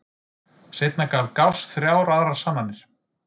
Seinna gaf Gauss þrjár aðrar sannanir.